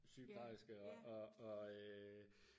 sygeplejerske og og øh